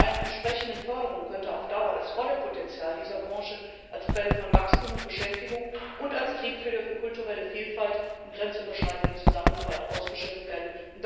Bei einer entsprechenden Förderung könnte auf Dauer das volle Potenzial dieser Branche als Quelle von Wachstum und Beschäftigung und als Triebfeder für kulturelle Vielfalt und grenzüberschreitende Zusammenarbeit ausgeschöpft werden.